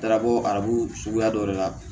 Darabɔ arabu suguya dɔ de la